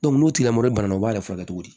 n'o tigilamɔgɔ banana u b'a furakɛ cogo di